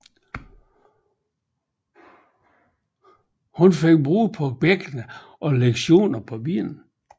Hun pådrog sig brud på bækkenet og læsioner på benene